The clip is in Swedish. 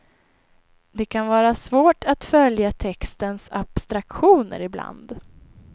Det kan vara svårt att följa textens abstraktioner ibland.